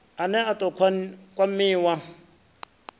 a ne a ḓo kwamiwa